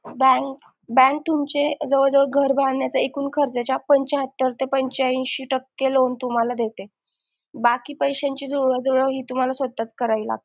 bank bank तुमचे जवळजवळ घर भागण्याचा ऐकून खर्चाचा पंचाहत्तर ते पंचाऐशी टक्के loan तुम्हाला देते बाकी पैशांची तुम्हाला जुळवाजुळव ही तुम्हाला स्वतःच करावी लागते